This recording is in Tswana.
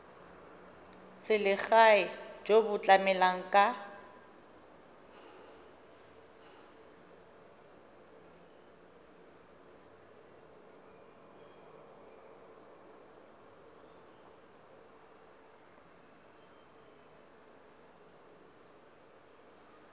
selegae jo bo tlamelang ka